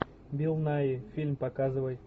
билл найи фильм показывай